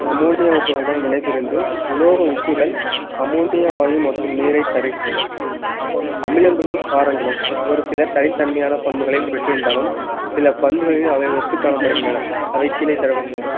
ammonia உப்புகளுடன் வினைபுரிந்து உலோக உப்புகள் அம்மோனிய வாயு மற்றும் நீரைத் தருகின்றன அமிலங்களும் காரங்களும் ஒரு சில தனித்தன்மையான பண்புகளை இருந்தாலும் சில பண்புகளையும் அவை ஒத்து காணப்படுகின்றன அவை கீழே தரப்பட்டுள்ளன